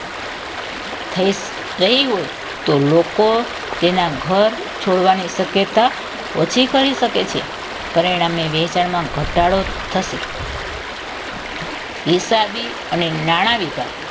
થઈ થઈ હોય તો લોકો તેના ઘર છોડવાની શક્યતા ઓછી કરી શકે છે પરિણામની વેચાણમાં ઘટાડો થશે હિસાબી અને નાણા વિભાગ